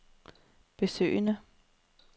besøgende